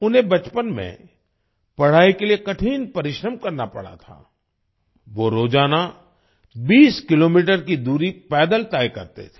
उन्हें बचपन में पढ़ाई के लिए कठिन परिश्रम करना पड़ा था वो रोजाना 20 किलोमीटर की दूरी पैदल तय करते थे